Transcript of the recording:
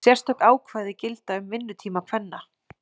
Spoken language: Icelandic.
Sérstök ákvæði gilda um vinnutíma kvenna.